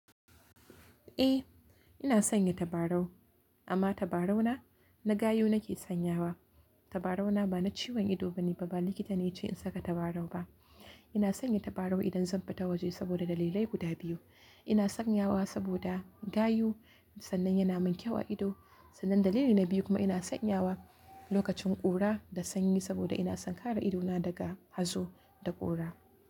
Eh, ina sanya tabarau amma tabarau na, na gayu nake sanyawa. Tabarau na ba na ciwon ido bane ba, ba likita ne ya ce in saka tabarau ba. Ina sanya tabarau idan zan fita waje saboda dalilai guda biyu. Ina sanyawa saboda gayu sannan yana min kyau a ido. Sannan dalili na biyu kuma ina sanyawa lokacin ƙura da sanyi saboda ina son kare idona daga hazo da ƙura.